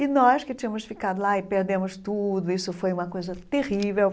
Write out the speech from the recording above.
E nós que tínhamos ficado lá e perdemos tudo, isso foi uma coisa terrível.